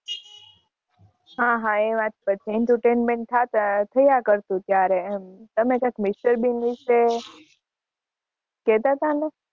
હા હા એ વાત પણ સાચી entertainment થયા કરતુ ત્યારે તમે કઈ mister bean વિષે કેહતા હતા ને